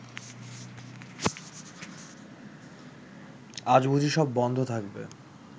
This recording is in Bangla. আজ বুঝি সব বন্ধ থাকবে